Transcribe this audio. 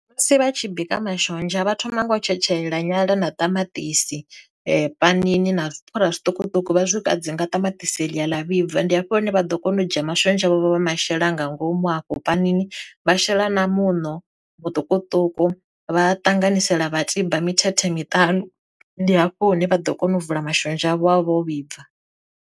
Musi vha tshi bika mashonzha vha thoma ngo tshetshelela nyala na tamatisi panini na zwipfhura zwiṱukuṱuku vha swika dzi nga ṱamaṱisi ḽia ḽa vhibva, ndi hafho hune vha ḓo kona u dzhia mashonzha vho vha ma masheleni nga ngomu hafho panini wa shela na muṋo muṱukuṱuku vha ṱanganyisela vha tiba mithethe miṱanu, ndi hafho hune vha ḓo kona u vula mashonzha avho avha o vhibva.